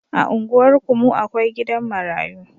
A unguwarku mu akwai gidan marayu